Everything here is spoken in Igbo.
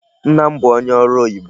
Nna m bụ onye ọrụ oyibo.